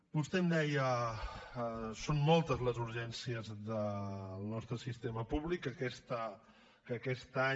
vostè em deia són moltes les urgències del nostre sistema públic que aquest any